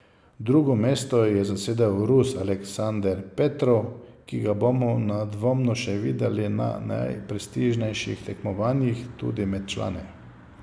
Drugo mesto je zasedel Rus Aleksander Petrov, ki ga bomo nedvomno še videli na najprestižnejših tekmovanjih, tudi med člani.